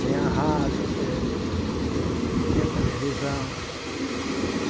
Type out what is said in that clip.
Tinha rádio tinha televisão.